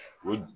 O